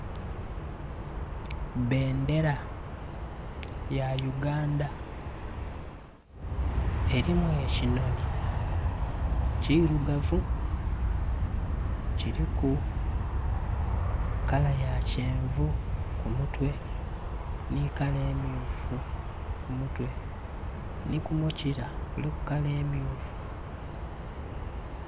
Bendera ya Uganda, elimu ekinhonhi kirugavu, kiliku kala ya kyenvu ku mutwe, ni kala emyufu ku mutwe, ni ku mukira kuliku kala emyufu.